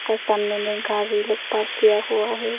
और सामने में गाड़ी लोग पार्क किया हुआ है।